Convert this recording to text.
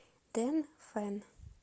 дэнфэн